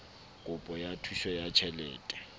kopo ya thuso ya tjhelete